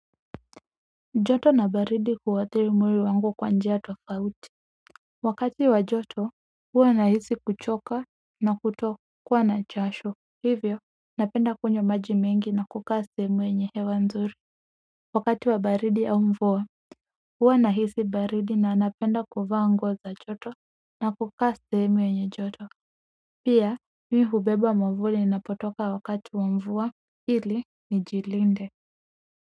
Joto na baridi huathiri mwili wangu kwa njia tofauti wakati wa joto huwa nahisi kuchoka na kutokuwa na jasho hivyo napenda kunywa maji mengi na kukaa sehemu yenye hewa nzuri wakati wa baridi au mvua huwa nahisi baridi na napenda kuvaa nguo za joto na kukaa sehemu yenye joto pia mi hubeba mwavuli ninapotoka wakati wa mvua ili nijilinde.